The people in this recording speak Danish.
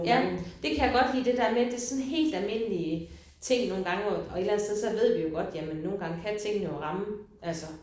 Ja. Det kan jeg godt lide det der med det sådan helt almindelige ting nogle gange hvor og et eller andet sted så ved vi jo godt jamen nogle gange kan tingene jo ramme altså